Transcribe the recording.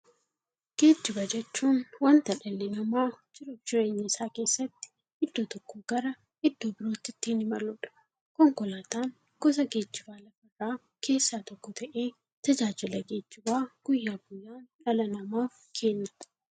Geejjiba jechuun wanta dhalli namaa jiruuf jireenya isaa keessatti iddoo tokkoo gara iddoo birootti ittiin imaluudha. Konkolaatan gosa geejjibaa lafarraa keessaa tokko ta'ee, tajaajila geejjibaa guyyaa guyyaan dhala namaaf kenna.